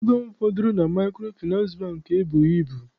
Ego m fọdụrụ na Maịkrofịnansị Bankị ebughị ibu.